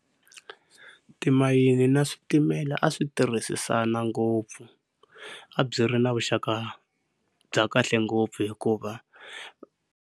Timayini na switimela a swi tirhisisana ngopfu a byi ri na vuxaka bya kahle ngopfu hikuva.